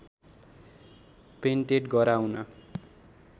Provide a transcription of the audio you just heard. patent गराउन